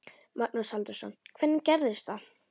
Magnús Halldórsson: Hvernig gerist það?